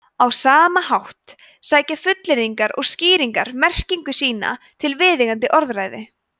á sama hátt sækja fullyrðingar og skýringar merkingu sína til viðeigandi orðræðu